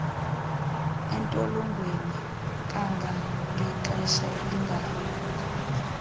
entolongweni kangangexesha elingadlulanga